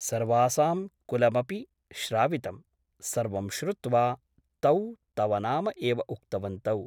सर्वासां कुलमपि श्रावितम् । सर्वं श्रुत्वा तौ तव नाम एव उक्तवन्तौ ।